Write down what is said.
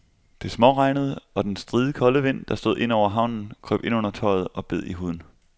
Det småregnede, og den stride kolde vind, der stod ind over havnen, krøb ind under tøjet og bed i huden.